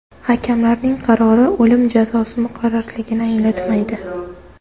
Hakamlarning qarori o‘lim jazosi muqarrarligini anglatmaydi.